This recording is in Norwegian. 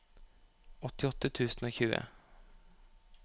åttiåtte tusen og tjue